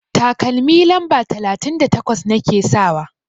Takalmi lamba talatin da takwas nake sakawa.